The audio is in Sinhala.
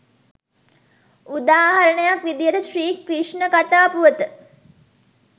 උදාහරණයක් විදිහට ශ්‍රී ක්‍රිෂ්ණ කථා පුවත